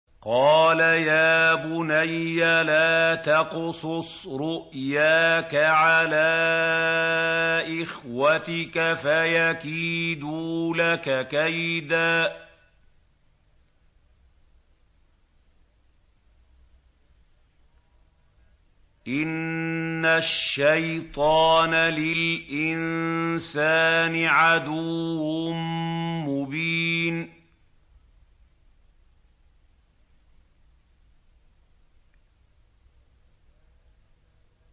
قَالَ يَا بُنَيَّ لَا تَقْصُصْ رُؤْيَاكَ عَلَىٰ إِخْوَتِكَ فَيَكِيدُوا لَكَ كَيْدًا ۖ إِنَّ الشَّيْطَانَ لِلْإِنسَانِ عَدُوٌّ مُّبِينٌ